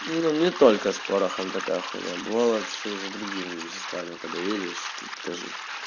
ну не только с порохом такая хуйня бывало что и за другими веществами когда едешь то тоже